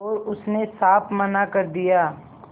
और उसने साफ मना कर दिया